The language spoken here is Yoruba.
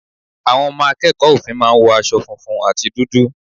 Àwọn ọmọ akẹ́kọ̀ọ́ òfin máa ń wo aṣọ funfun àti dúdú.